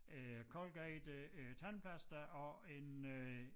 Øh Colgate øh øh tandpasta og en øh